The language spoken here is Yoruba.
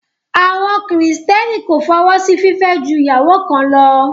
Àwọn kìrìtẹ́nì kò fọwọ́ sí fìfẹ́ ju ìyàwó kan lọ